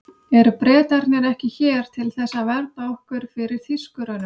Eru Bretarnir ekki hér til þess að vernda okkur fyrir Þýskurunum?